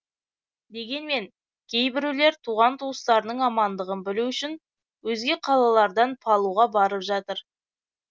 дегенмен кейбіреулер туған туыстарының амандығын білу үшін өзге қалалардан палуға барып жатыр